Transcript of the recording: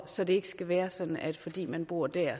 så det ikke skal være sådan at fordi man bor der